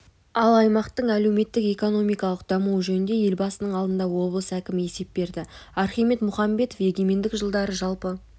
ал аймақтың әлеуметтік-экономикалық дамуы жөнінде елбасының алдында облыс әкімі есеп берді архимед мұхамбетов егемендік жылдары жалпы